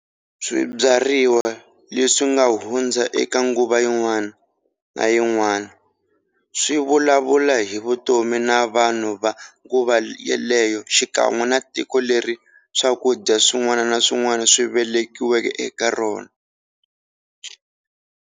Swibyariwa leswinga hundza eka nguva yin'wana na yin'wana swivulavula hi vutomi na vanhu va nguva yaleyo xikan'we na tiko leri swakudya swin'wana na swin'wana swi velekiweke eka rona.